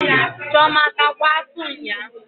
Chioma atakwa atụ nyaa?